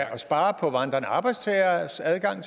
at spare på vandrende arbejdstageres adgang